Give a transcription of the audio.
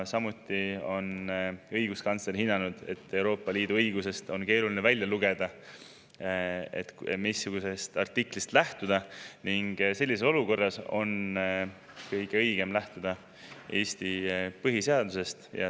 Ka õiguskantsler on hinnanud, et Euroopa Liidu õigusest on keeruline välja lugeda, missugusest artiklist lähtuda, ning sellises olukorras on kõige õigem lähtuda Eesti põhiseadusest.